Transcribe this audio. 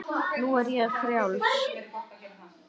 Nú er ég frjáls!